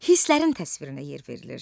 Hisslərin təsvirinə yer verilir.